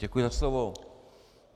Děkuji za slovo.